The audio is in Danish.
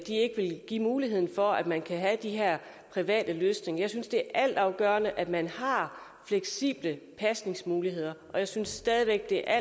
vil give muligheden for at man kan have de her private løsninger jeg synes det er altafgørende at man har fleksible pasningsmuligheder og jeg synes stadig væk det er